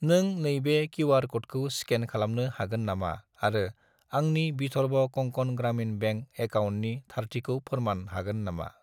नों नैबे किउ.आर. क'डखौ स्केन खलामनो हागोन नामा आरो आंनि विधर्व कंकन ग्रामिन बेंक एकाउन्टनि थारथिखौ फोरमान हागोन नामा?